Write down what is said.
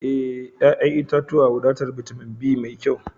E, ƴa'ƴan itatuwa wadatar bitamin be mai kyau.